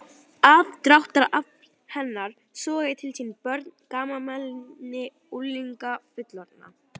Aðdráttarafl hennar sogaði til sín börn, gamalmenni, unglinga, fullorðna